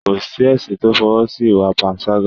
kò sí ẹ̀sìn to f'ọwọ́ si ìwà panṣágà